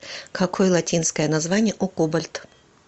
какой латинское название у кобальт